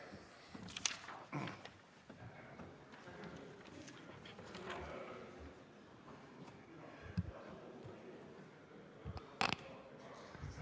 Aitäh!